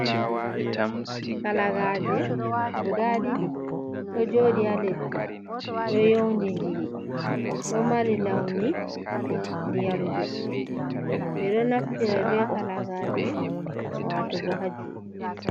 Kalagaje guda ɗiɗi, ɗo joɗi ha leddi, ɗo yondindiri, ɗo mari launi ndiyam ɗodɗe, ɓeɗo naftira be kalagaje watugo ha juɗe.